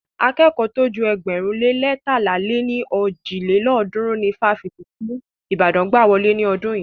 Akẹ́kọ̀ọ́ tó ju ėgbẹ̀rún lé leétalá lé ní ojì lélọ́ọ̀dúnrún ni ifáfitì ti Ìbàdàn gbà wọlé ní ọdún yìí.